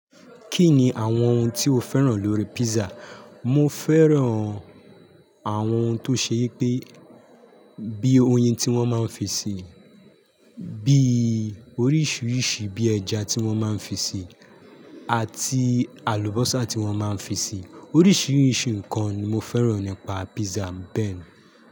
Kí ni àwọn ohun tí o féràn lórí pizza? Mo féràn àwọn ohun tó ṣe yẹ pé bí oyin tí wọ́n máa ń fi sí i, bí oríṣiríṣi bí ẹja tí wọ́n máa ń fi sí i, àti àlùbọ́sà tí wọ́n máa ń fi sí i. Oríṣiríṣi nǹkan ni mo féràn nípa pizza mi bẹ́ẹ̀.